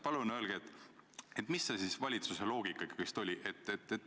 Palun öelge, mis see valitsuse loogika siis ikkagi oli!